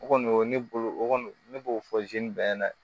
O kɔni o ne bolo o kɔni ne b'o fɔ bɛɛ ɲɛna dɛ